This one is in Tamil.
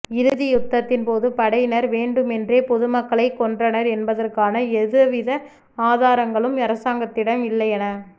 இறுதி யுத்ததின்போது படையினர் வேண்டுமென்றே பொதுமக்களைக் கொன்றனர் என்பதற்கான எதுவித ஆதாரங்களும் அரசாங்கத்திடம் இல்லை என